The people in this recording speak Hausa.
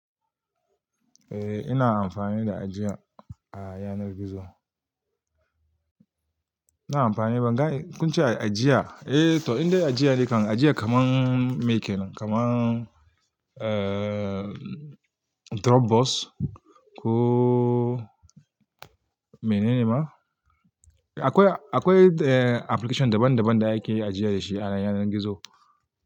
Eh, ina amfani da ajiya a yanar gizo. Na amfani, ban ga kun ce ajiya. Eh to indai ajiya ne kan, ajiya kaman Me kenan Dropbox ko mene ne ma. Akwai, akwai application daban daban da ake ajiya da shi a yanar gizo.